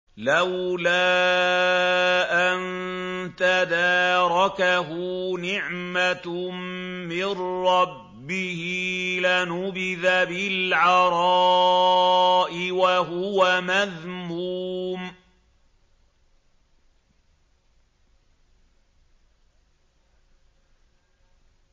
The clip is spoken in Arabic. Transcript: لَّوْلَا أَن تَدَارَكَهُ نِعْمَةٌ مِّن رَّبِّهِ لَنُبِذَ بِالْعَرَاءِ وَهُوَ مَذْمُومٌ